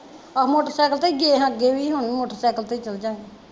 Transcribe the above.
ਆਹੋ ਮੋਟਰਸੈਕਲ ਤੇ ਈ ਗਏ ਸਾ ਅੱਗੇ ਵੀ ਹੁਣ ਵੀ ਮੋਟਰਸੈਕਲ ਤੇ ਈ ਚਲਜਾਂਗੇ